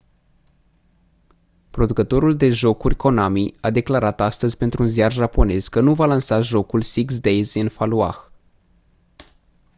producătorul de jocuri konami a declarat astăzi pentru un ziar japonez că nu va lansa jocul six days in fallujah